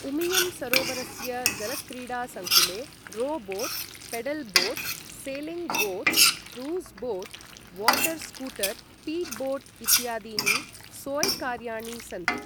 उमियम् सरोवरस्य जलक्रीडासङ्कुले row boat, pedal boat, sailing boat, cruise boat, water scooter, speed boat इत्यादीनि सोइकार्याणि सन्ति।